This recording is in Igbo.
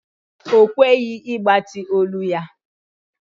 Ọ kweghị ịgbatị olu ya.